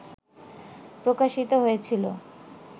প্রকাশিত হয়েছিল